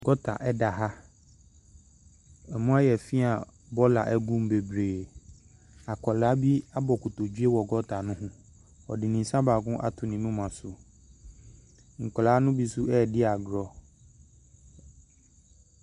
Gɔta da ha. Emu ayɛ fi a bɔɔla gu mu bebree. Akwaraa bi abu nkotodwe wɔ bɔɔla no ho. Ɔde ne nsa baako ato ne moma so. Nkwaraa no bi nso redi agorɔ.